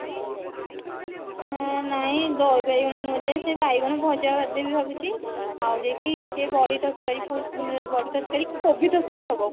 ଏ ନାଇଁ ଦହି ବାଇଗଣ ନୁହଁ ଯେ ସେ ବାଇଗଣ ଭଜା ଭାଜି ଦେବି ଭାବୁଛି ଆଉ ଯାଇକି ସେ ବଢି ତରକାରୀ ଉଁ ବଢି ତରକାରୀ କି କୋବି ତରକାରୀ ହେବ